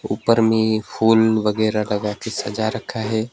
ऊपर में फूल वगैरा लगा के सजा रखा है।